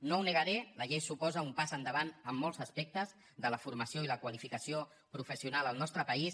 no ho negaré la llei suposa un pas endavant en molts aspectes de la formació i la qualificació professional al nostre país